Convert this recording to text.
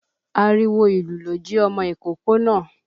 Àriwo ìlú ló ji ọmọ ìkókó náà.